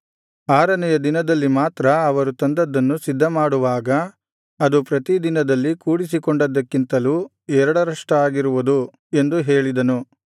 ಆರನೆಯ ದಿನದಲ್ಲಿ ಮಾತ್ರ ಅವರು ತಂದದ್ದನ್ನು ಸಿದ್ಧಮಾಡುವಾಗ ಅದು ಪ್ರತಿದಿನದಲ್ಲಿ ಕೂಡಿಸಿಕೊಂಡದ್ದಕ್ಕಿಂತಲೂ ಎರಡರಷ್ಟಾಗಿರುವುದು ಎಂದು ಹೇಳಿದನು